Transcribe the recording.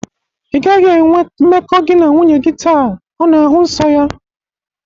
Ị gaghị enwe mmekọ gị na nwunye gi taa! Ọ na-ahụ nsọ ya